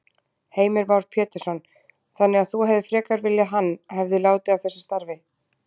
Heimir Már Pétursson: Þannig að þú hefðir frekar viljað hann, hefði látið af þessu starfi?